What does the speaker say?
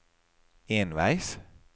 enveis